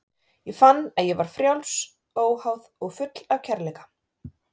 Ég fann að ég var frjáls, óháð og full af kærleika.